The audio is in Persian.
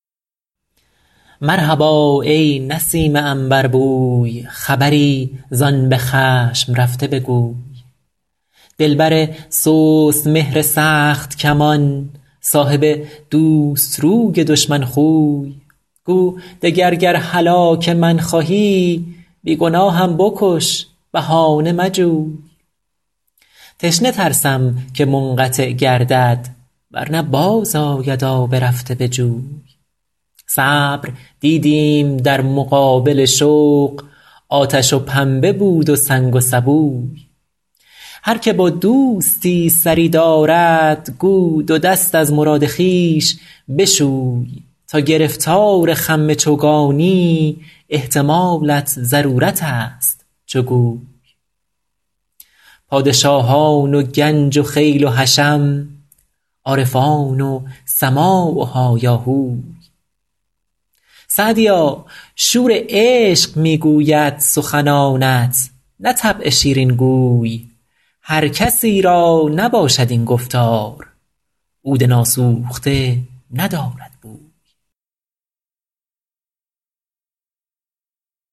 مرحبا ای نسیم عنبربوی خبری زآن به خشم رفته بگوی دلبر سست مهر سخت کمان صاحب دوست روی دشمن خوی گو دگر گر هلاک من خواهی بی گناهم بکش بهانه مجوی تشنه ترسم که منقطع گردد ور نه باز آید آب رفته به جوی صبر دیدیم در مقابل شوق آتش و پنبه بود و سنگ و سبوی هر که با دوستی سری دارد گو دو دست از مراد خویش بشوی تا گرفتار خم چوگانی احتمالت ضرورت است چو گوی پادشاهان و گنج و خیل و حشم عارفان و سماع و هایاهوی سعدیا شور عشق می گوید سخنانت نه طبع شیرین گوی هر کسی را نباشد این گفتار عود ناسوخته ندارد بوی